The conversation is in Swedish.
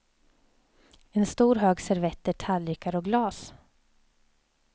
En stor hög servetter, tallrikar och glas.